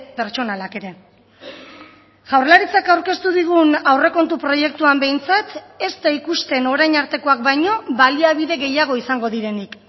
pertsonalak ere jaurlaritzak aurkeztu digun aurrekontu proiektuan behintzat ez da ikusten orain artekoak baino baliabide gehiago izango direnik